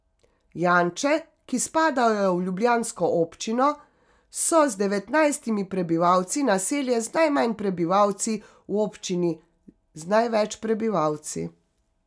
Janče, ki spadajo v ljubljansko občino, so z devetnajstimi prebivalci naselje z najmanj prebivalci v občini z največ prebivalci.